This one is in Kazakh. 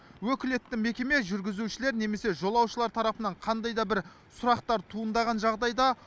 өкілетті мекеме жүргізушілер немесе жолаушылар тарапынан қандай да бір сұрақтар туындаған жағдайда